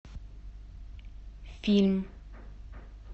фильм